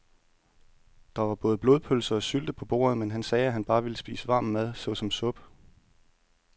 Der var både blodpølse og sylte på bordet, men han sagde, at han bare ville spise varm mad såsom suppe.